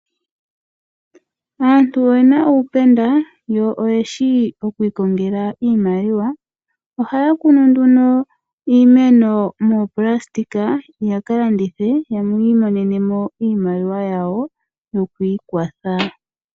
Aantu oyena uupenda, yo oyeshi oku ikongela iimaliwa. Ohaya kunu ndno iimeno moonayilona yaka landithe, yi imonene mo iimaliwa yawo yokwii kwatha.